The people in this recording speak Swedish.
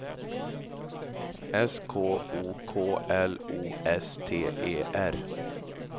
S K O K L O S T E R